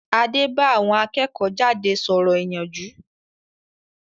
Adé bá àwọn akẹ́kọ̀-jáde sọ̀rọ̀ ìyànjú